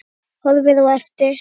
Horfir á eftir